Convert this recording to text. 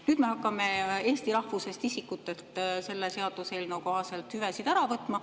Nüüd me hakkame eesti rahvusest isikutelt selle seaduseelnõu kohaselt hüvesid ära võtma.